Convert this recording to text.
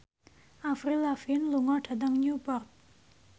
Avril Lavigne lunga dhateng Newport